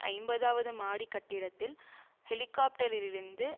ஐம்பதாவது மாடி கட்டிடத்தில் ஹெலிகாப்டரிலிருந்து